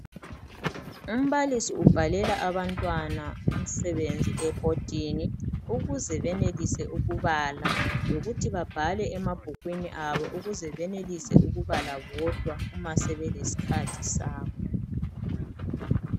Umbalisi ubhalela abantwana umsebenzi ebhodini ukuze benelise ukubala lokuthi babhale emabhukwini abo ukuze benelise ukubala bodwa uma sebelesikhathi sabo.